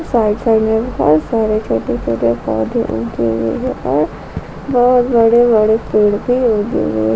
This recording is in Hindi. साइड साइड मे बहोत सारे छोटे छोटे पौध उगे हुए हैं और बहोत बड़े बड़े पेड़ भी उगे हुए--